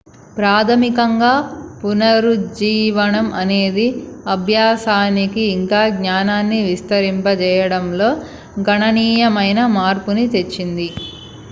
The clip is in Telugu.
ప్రాథమికంగా పునరుజ్జీవనం అనేది అభ్యాసానికి ఇంకా జ్ఞానాన్ని విస్తరింపజేయడంలో గణనీయమైన మార్పుని తెచ్చింది